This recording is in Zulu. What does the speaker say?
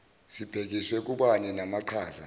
sibhekiswe kubani namaqhaza